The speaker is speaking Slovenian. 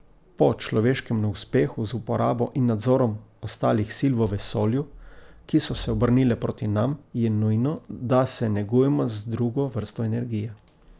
Po človeškem neuspehu z uporabo in nadzorom ostalih sil v vesolju, ki so se obrnile proti nam, je nujno, da se negujemo z drugo vrsto energije ...